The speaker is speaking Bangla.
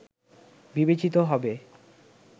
বিবেচিত হবে